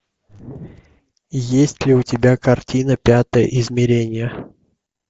есть ли у тебя картина пятое измерение